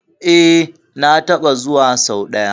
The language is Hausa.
E, na taɓa zuwa sau ɗaya.